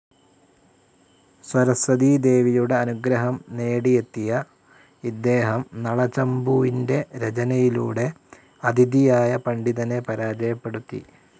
സരസ്വതീദേവിയുടെ അനുഗ്രഹം നേടിയെത്തിയ ഇദ്ദേഹം നളചമ്പുവിന്റെ രചനയിലൂടെ അതിഥിയായ പണ്ഡിതനെ പരാജയപ്പെടുത്തി.